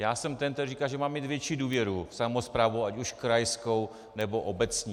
Já jsem ten, který říká, že máme mít větší důvěru v samosprávu, ať už krajskou, nebo obecní.